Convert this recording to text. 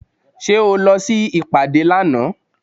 Ṣé o lọ sí ìpàdé lánàá?